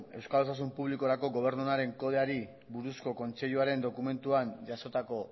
euskal osasun publikorako gobernu onaren kodeari buruzko kontseiluaren dokumentuan jasotako